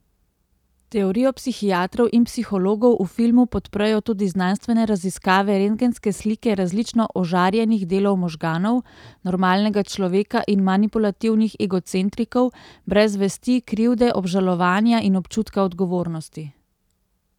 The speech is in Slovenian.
Teorijo psihiatrov in psihologov v filmu podprejo tudi znanstvene raziskave, rentgenske slike različno ožarjenih delov možganov, normalnega človeka in manipulativnih egocentrikov brez vesti, krivde, obžalovanja in občutka odgovornosti.